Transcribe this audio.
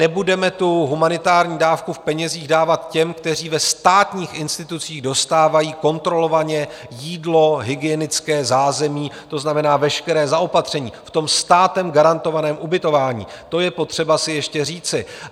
Nebudeme tu humanitární dávku v penězích dávat těm, kteří ve státních institucích dostávají kontrolovaně jídlo, hygienické zázemí, to znamená veškeré zaopatření - v tom státem garantovaném ubytování, to je potřeba si ještě říci.